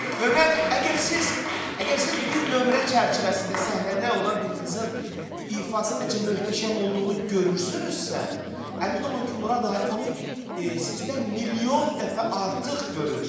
Və mən əgər siz, əgər siz bir nömrə çərçivəsində səhnədə olan bir qızın ifasının necə möhtəşəm olduğunu görürsünüzsə, əmin olun ki, Murad Arif onu sizdən milyon dəfə artıq görür.